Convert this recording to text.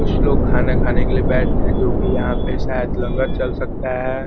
कुछ लोग खाना खाने के लिए गए थे जो की यहां पे साथ लंगर चल सकता है।